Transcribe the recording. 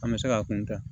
An bɛ se k'a kun tɛ